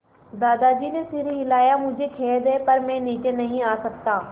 दादाजी ने सिर हिलाया मुझे खेद है पर मैं नीचे नहीं आ सकता